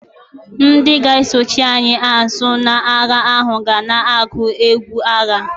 Ndị ga-esochi anyị azụ n'agha ahụ ga na-agụ egwu agha.